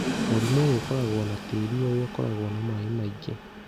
Mũrimũ ũyũ ũkoragwo na tĩĩri ũrĩa ũkoragwo na maĩ maingĩ.